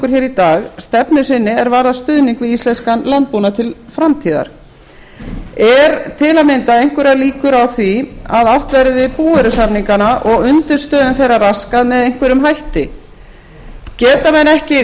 okkur í dag stefnu sinni er varðar stuðning við íslenskan landbúnað til framtíðar eru til að mynda einhverjar líkur á því að átt verði við búvörusamningana og undirstöðum þeirra raskað með einhverjum hætti geta menn ekki treyst